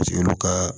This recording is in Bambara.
Paseke olu ka